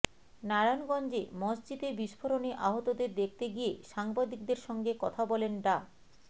নারায়ণগঞ্জে মসজিদে বিস্ফোরণে আহতদের দেখতে গিয়ে সাংবাদিকদের সঙ্গে কথা বলেন ডা